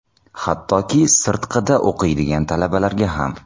Hattoki, sirtqida o‘qiydigan talabalarga ham.